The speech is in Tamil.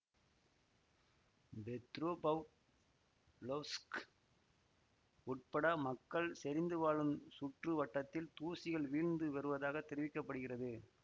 பெத்ரொபவ் லொவ்ஸ்க் உட்பட மக்கள் செறிந்து வாழும் சுற்று வட்டத்தில் தூசிகள் வீழ்ந்து வருவதாக தெரிவிக்க படுகிறது